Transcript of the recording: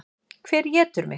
Hver étur mig?